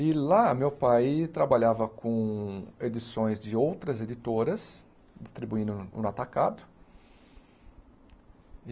E lá meu pai trabalhava com edições de outras editoras, distribuindo um um atacado.